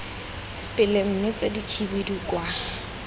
pele mme tse dikhibidu kwa